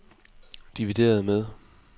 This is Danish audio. divideret med